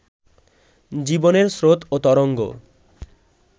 জীবনের স্রোত ও তরঙ্গ